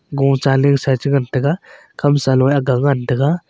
go chaling sa cha ngan taiga kham salo aga ngan taiga.